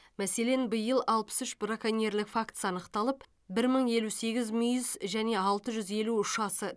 мәселен биыл алпыс үш браконьерлік фактісі анықталып бір мың елу сегіз мүйіз және алты жүз елу ұшасы